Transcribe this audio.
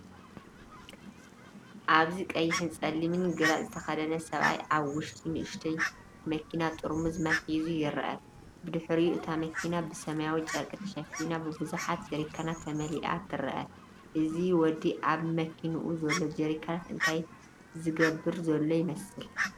ኣብዚ ቀይሕን ጸሊምን ግራጭ ዝተኸድነ ሰብኣይ ኣብ ውሽጢ ንእሽቶ መኪናጥርሙዝ ማይ ሒዙ ይርአ። ብድሕሪኡ እታ መኪና ብሰማያዊ ጨርቂ ተሸፊና ብብዙሓት ጀሪካናት ተመሊኣ ትረአ። እዚ ወዲ ኣብ መኪንኡ ዘሎ ጀሪካናት እንታይ ዝገብር ዘሎ ይመስል?